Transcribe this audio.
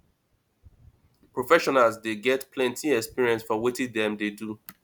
professionals dey get plenty experience for wetin dem dey do